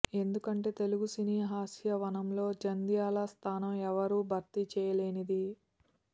ఎందుకంటే తెలుగు సినీ హాస్యవనంలో జంధ్యాల స్థానం ఎవ్వరూ భర్తీ చేయలేనిది